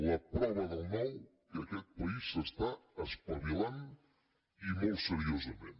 la prova del nou que aquest país s’està espavilant i molt seriosament